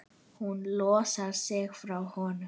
Hún losar sig frá honum.